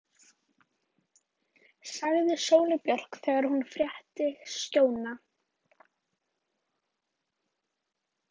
sagði Sóley Björk þegar hún frétti af Skjóna.